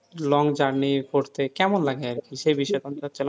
long journey করতে কেমন লাগে আরকি সে বিষয়ে